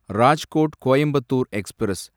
Rajkot Coimbatore express